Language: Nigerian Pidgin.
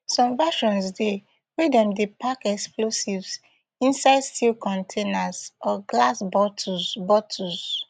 some versions dey wey dem dey pack explosives inside steel containers or glass bottles bottles